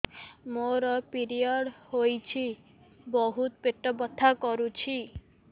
ମୋର ପିରିଅଡ଼ ହୋଇଛି ବହୁତ ପେଟ ବଥା କରୁଛି